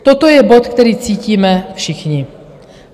Toto je bod, který cítíme všichni.